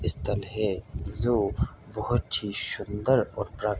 इस बहोत ही शुंदर और प्रा --